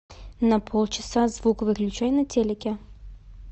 на полчаса звук выключай на телике